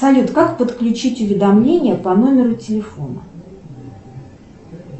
салют как подключить уведомления по номеру телефона